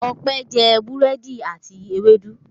Ọpẹ́ jẹ búrẹ́dì àti ewédú.